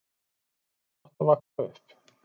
Þar var gott að vaxa upp.